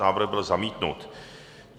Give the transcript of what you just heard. Návrh byl zamítnut.